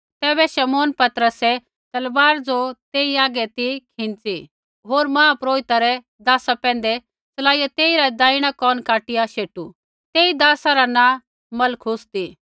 तैबै शमौन पतरसै तलवार ज़ो तेई आगै ती खींच़ी होर महापुरोहिता रै दासा पैंधै चलाईया तेइरा देहणा कोन काटिया शेटू तेई दासा रा नाँ मलखुस ती